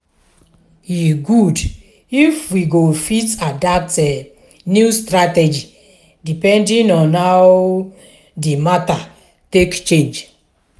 e good if we go fit adapt new strategy depending on how di matter take change